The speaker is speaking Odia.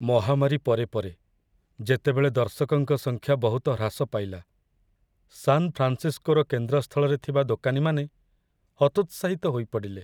ମହାମାରୀ ପରେ ପରେ, ଯେତେବେଳେ ଦର୍ଶକଙ୍କ ସଂଖ୍ୟା ବହୁତ ହ୍ରାସ ପାଇଲା, ସାନ ଫ୍ରାନ୍‌ସିସ୍କୋର କେନ୍ଦ୍ରସ୍ଥଳରେ ଥିବା ଦୋକାନୀମାନେ ହତୋତ୍ସାହିତ ହୋଇପଡ଼ିଲେ।